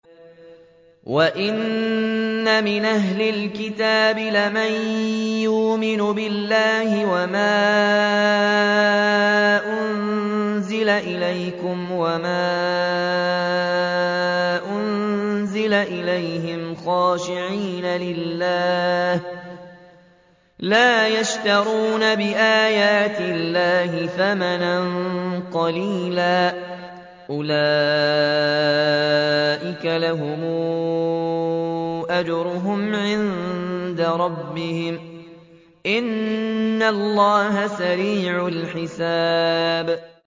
وَإِنَّ مِنْ أَهْلِ الْكِتَابِ لَمَن يُؤْمِنُ بِاللَّهِ وَمَا أُنزِلَ إِلَيْكُمْ وَمَا أُنزِلَ إِلَيْهِمْ خَاشِعِينَ لِلَّهِ لَا يَشْتَرُونَ بِآيَاتِ اللَّهِ ثَمَنًا قَلِيلًا ۗ أُولَٰئِكَ لَهُمْ أَجْرُهُمْ عِندَ رَبِّهِمْ ۗ إِنَّ اللَّهَ سَرِيعُ الْحِسَابِ